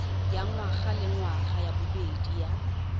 ya ngwagalengwaga ya bobedi ya